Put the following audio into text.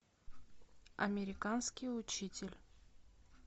американский учитель